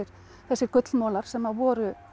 þessir gullmolar sem voru